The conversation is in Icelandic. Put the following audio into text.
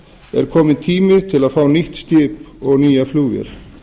er kominn tími til að fá nýtt skip og flugvél